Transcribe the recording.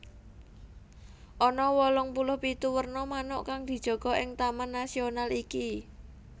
Ana wolung puluh pitu werna manuk kang dijaga ing taman nasional iki